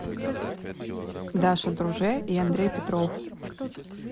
даша друже и андрей петров